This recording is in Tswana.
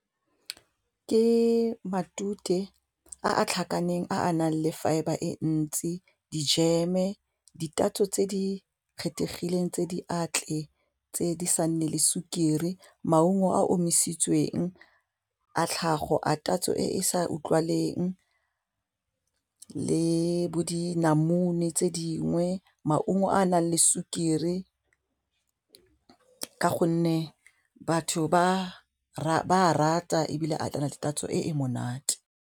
Ke matute a a tlhakaneng a nang le fibre e ntsi dijeme ditatso tse di kgethegileng tse di atle tse di sa nne le sukiri maungo a omisitsweng a tlhago a tatso e e sa utlwileng le bo dinamune tse dingwe, maungo a nang le sukiri ka gonne batho ba rata ebile a tlala le tatso e monate.